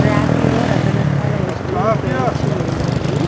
ర్యాకులో రకరకాల వస్తువులు పేర్చి ఉన్నాయి.